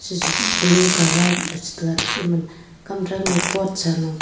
shishi blue colour leche tega tate teman kam throuma pot salo.